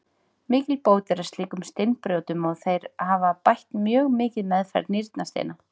Mikil bót er að slíkum steinbrjótum og þeir hafa bætt mjög mikið meðferð nýrnasteina.